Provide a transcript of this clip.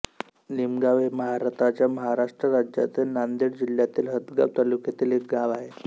निमगाव हे भारताच्या महाराष्ट्र राज्यातील नांदेड जिल्ह्यातील हदगाव तालुक्यातील एक गाव आहे